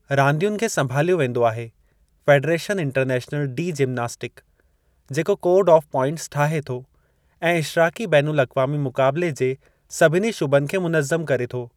रांदियुनि खे संभालियो वेंदो आहे फ़ेडरेशन इंटरनैशनल डी जिमनास्टिक, जेको कोड ऑफ़ प्वाइंटस ठाहे थो ऐं इशराक़ी बेन उल-अक़वामी मुक़ाबिले जे सभिनी शुबनि खे मुनज़्ज़म करे थो।